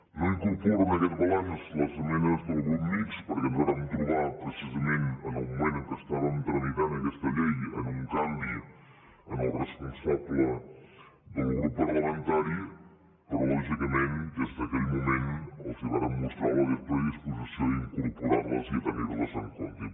no incorporo en aquest balanç les esmenes del grup mixt perquè ens vàrem trobar precisament en el moment en què estàvem tramitant aquesta llei amb un canvi en el responsable del grup parlamentari però lògicament des d’aquell moment els vàrem mostrar la nostra predisposició a incorporar les i a tenir les en compte